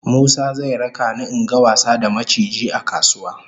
Musa zai raka ni in ga wasa da maciji a kasuwa